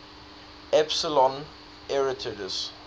epsilon arietids